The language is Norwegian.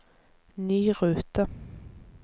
ny rute